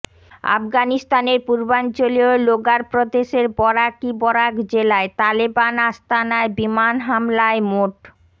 আফগানিস্তানের পূর্বাঞ্চলীয় লোগার প্রদেশের বরাকি বরাক জেলায় তালেবান আস্তানায় বিমান হামলায় মোট